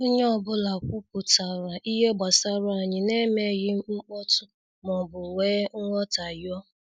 Onye ọ bụla kwupụtara ihe gbasara anyị na emeghị mkpọtụ maọbụ wee nghotahio